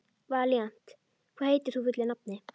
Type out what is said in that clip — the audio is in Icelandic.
Valíant, hvað heitir þú fullu nafni?